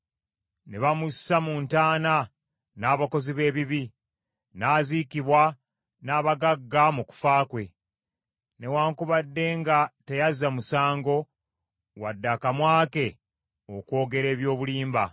Ne bamussa mu ntaana n’abakozi b’ebibi, n’aziikibwa n’abagagga mu kufa kwe, newaakubadde nga teyazza musango wadde akamwa ke okwogera eby’obulimba.